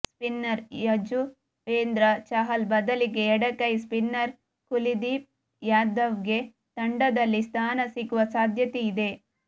spinner Yuzvendra Chahal ಬದಲಿಗೆ ಎಡಗೈ spinner Kuldeep ಯಾದವ್ಗೆ ತಂಡದಲ್ಲಿ ಸ್ಥಾನ ಸಿಗುವ ಸಾಧ್ಯತೆಯಿದೆ